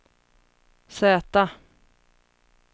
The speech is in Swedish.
Z